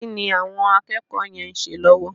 Kí ni àwọn akẹ́kọ̀ọ́ yẹn ń ṣe lọ́wọ́?